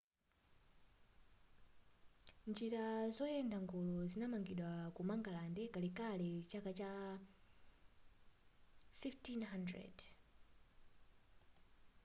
njira zoyenda ngolo zinamangidwa ku mangalande kalekale zaka zama 1500